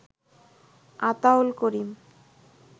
Ataul Karim